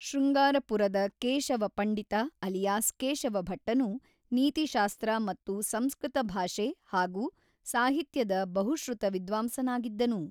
ಶೃಂಗಾರಪುರದ Keshava Pandita alias Keshava ಭಟ್ಟನು ನೀತಿಶಾಸ್ತ್ರ ಮತ್ತು ಸಂಸ್ಕೃತ ಭಾಷೆ ಹಾಗೂ ಸಾಹಿತ್ಯದ ಬಹುಶ್ರುತ ವಿದ್ವಾಂಸನಾಗಿದ್ದನು.